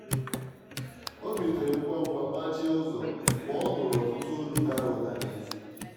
ọ́ bìlìtèrè ngwá ngwá gbàchìe ụ́zọ̀ mgbe ọ́ nụ́rụ̀ ọtụ́tụ́ òlù dàrà ụ́dà n'èzì.